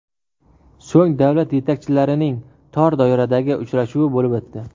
So‘ng davlat yetakchilarining tor doiradagi uchrashuvi bo‘lib o‘tdi.